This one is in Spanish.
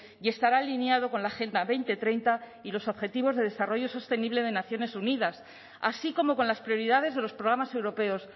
y estará alineado con la agenda dos mil treinta y los objetivos de desarrollo sostenible de naciones unidas así como con las prioridades de los programas europeos